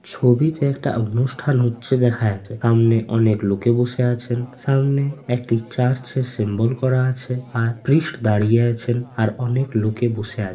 ছবিতে একটা অনুষ্ঠান হচ্ছে দেখা আছে সামনে অনেক লোকে বসে আছেন সামনে একটি চার্চ এ সিম্বল করা আছে আর প্রিস্ট দাঁড়িয়ে আছেন আর অনেক লোকে বসে আ--